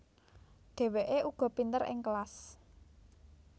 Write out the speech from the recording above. Dheweke uga pinter ing kelas